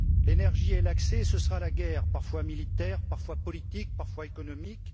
L'énergie et l'accès, ce sera la guerre, parfois militaire, parfois politique, parfois économique.